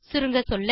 சுருங்கசொல்ல